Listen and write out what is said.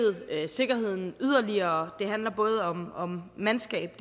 sikkerheden yderligere det handler både om om mandskab